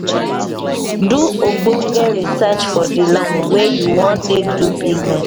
do ogbonge research for di land wey you wan take do business